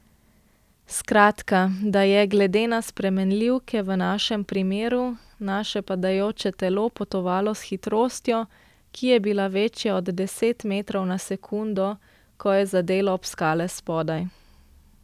Skratka, da je, glede na spremenljivke v našem primeru, naše padajoče telo potovalo s hitrostjo, ki je bila večja od deset metrov na sekundo, ko je zadelo ob skale spodaj.